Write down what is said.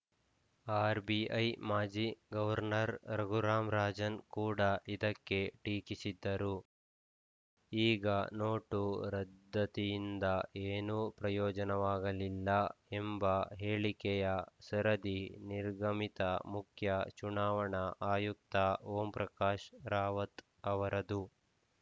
RBI ಮಾಜಿ governor Raghuram Rajan ಕೂಡ ಇದಕ್ಕೆ ಟೀಕಿಸಿದ್ದರು ಈಗ ನೋಟು ರದ್ದತಿಯಿಂದ ಏನೂ ಪ್ರಯೋಜನವಾಗಲಿಲ್ಲ ಎಂಬ ಹೇಳಿಕೆಯ ಸರದಿ ನಿರ್ಗಮಿತ ಮುಖ್ಯ ಚುನಾವಣಾ ಆಯುಕ್ತ ಓಂಪ್ರಕಾಶ್‌ ರಾವತ್‌ ಅವರದು